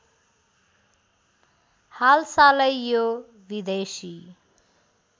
हालसालै यो विदेशी